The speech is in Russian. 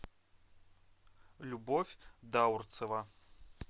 любовь даурцева